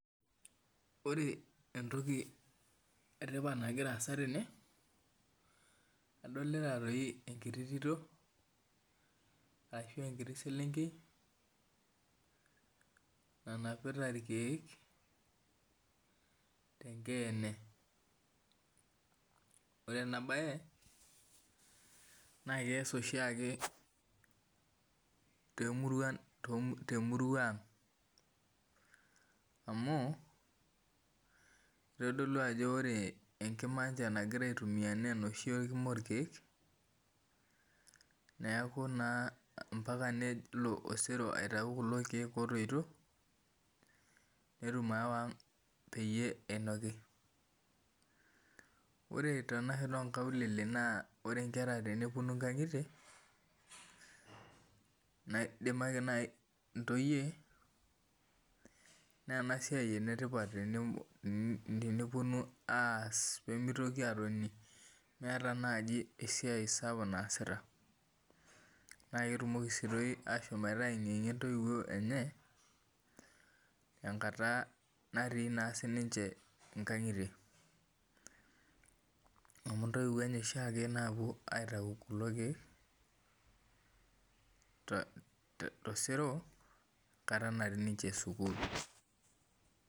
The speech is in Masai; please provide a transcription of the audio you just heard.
Ore entoki etipat nagira aasa tene adolita toi enkiti tito ashu enkiti selnkei nanapita irkiek ore enabae na keas oshiake tomurua aang amu kitodolu ajo ore enagira aitumia na enoshi kina orkiek neaku na mpaka na nelo osero aitau kulo kiek otoito petum ayawa aang peyie inoki ore tenashoto onkaulele ore nkera teneponu nkaulele nidimaki na ntoyie na enasiai enetipa teneponu aas meeta naj esiai sapuk naasita naketumoki toi ashomoito aengiengie ntoiwuo enye tenkata natii nkangitie amu intoiwuo enye oshiake naponu aitau irkiek enkata nati ninche sukul.